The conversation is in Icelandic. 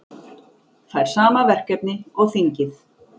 Fær sama verkefni og þingið